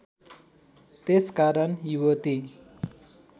त्यसकारण युवती